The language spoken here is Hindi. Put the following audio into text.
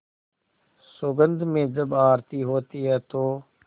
सुगंध में जब आरती होती है तो